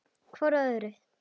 Hjá hvort öðru.